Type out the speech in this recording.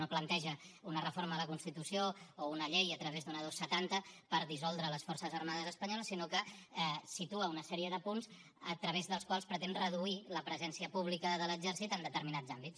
no planteja una reforma de la constitució o una llei a través d’una dos cents i setanta per dissoldre les forces armades espanyoles sinó que situa una sèrie de punts a través dels quals pretén reduir la presència pública de l’exèrcit en determinats àmbits